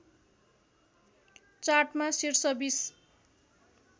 चार्टमा शीर्ष २०